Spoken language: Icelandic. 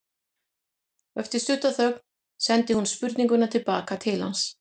Og eftir stutta þögn sendi hún spurninguna til baka til hans.